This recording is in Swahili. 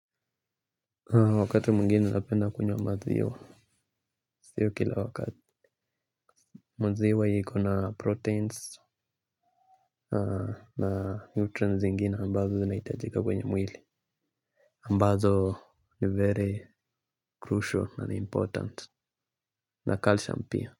Wakati mwingine napenda kunywa maziwa sio kila wakati maziwa iko na proteins na neutrons zingine ambazo zinahitajika kwenye mwili. Ambazo ni very crucial and important na calcium pia.